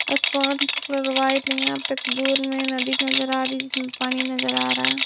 आसमान की colour white यहां पे दूर में नदी नजर आ रही है जिसमें पानी नजर आ रहा है।